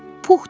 Pux tapır.